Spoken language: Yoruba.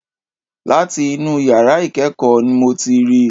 Láti inú yàrá ìkẹ́kọ̀ọ́ n mo ti ríi.